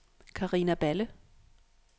Karina Balle